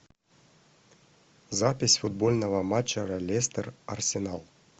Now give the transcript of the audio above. запись футбольного матча лестер арсенал